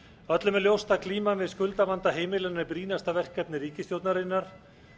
öllum er ljóst að glíman við skuldavanda heimilanna er brýnasta verkefni ríkisstjórnarinnar